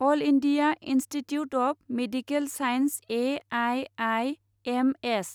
all India Institute of Medical Science A I I M S